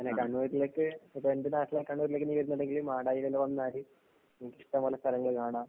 അല്ലേ, കണ്ണൂരിലേക്ക് പിന്നെ എന്‍റെ നാട്ടിലെ കണ്ണൂരിലേക്ക് നീ വരുന്നുണ്ടെങ്കില്‍ മാടായില്‍ ഒന്ന് വന്നാല് നിനക്കിഷ്ടം പോലെ സ്ഥലങ്ങള് കാണാം.